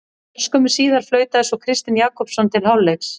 Örskömmu síðar flautaði svo Kristinn Jakobsson til hálfleiks.